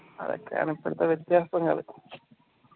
അതൊക്കെയാണ് ഇപ്പത്തെ വ്യത്യാസങ്ങള്